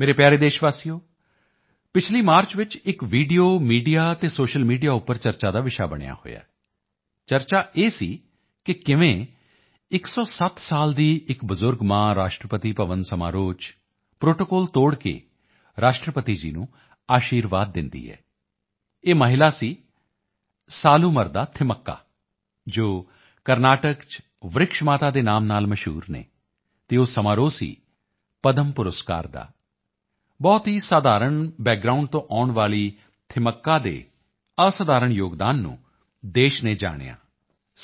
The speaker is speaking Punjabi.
ਮੇਰੇ ਪਿਆਰੇ ਦੇਸ਼ਵਾਸੀਓ ਪਿਛਲੀ ਮਾਰਚ ਵਿੱਚ ਇੱਕ ਵੀਡੀਓ ਮੀਡੀਆ ਅਤੇ ਸੋਸ਼ੀਅਲ ਮੀਡੀਆ ਉੱਪਰ ਚਰਚਾ ਦਾ ਵਿਸ਼ਾ ਬਣਿਆ ਹੋਇਆ ਹੈ ਚਰਚਾ ਇਹ ਸੀ ਕਿ ਕਿਵੇਂ 107 ਸਾਲ ਦੀ ਇੱਕ ਬਜ਼ੁਰਗ ਮਾਂ ਰਾਸ਼ਟਰਪਤੀ ਭਵਨ ਸਮਾਰੋਹ ਚ ਪ੍ਰੋਟੋਕੋਲ ਤੋੜ ਕੇ ਰਾਸ਼ਟਰਪਤੀ ਜੀ ਨੂੰ ਅਸ਼ੀਰਵਾਦ ਦਿੰਦੀ ਹੈ ਇਹ ਮਹਿਲਾ ਸੀ ਸਾਲੂਮਰਦਾ ਥਿਮੱਕਾ ਜੋ ਕਰਨਾਟਕ ਚ ਵਰਿਕਸ਼ ਮਾਤਾ ਦੇ ਨਾਮ ਨਾਲ ਮਸ਼ਹੂਰ ਹਨ ਅਤੇ ਉਹ ਸਮਾਰੋਹ ਸੀ ਪਦਮ ਪੁਰਸਕਾਰ ਦਾ ਬਹੁਤ ਹੀ ਸਧਾਰਨ ਬੈਕਗਰਾਉਂਡ ਤੋਂ ਆਉਣ ਵਾਲੀ ਥਿਮੱਕਾ ਦੇ ਅਸਧਾਰਨ ਯੋਗਦਾਨ ਨੂੰ ਦੇਸ਼ ਨੇ ਜਾਣਿਆ